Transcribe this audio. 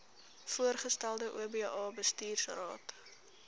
voorgestelde oba bestuursraad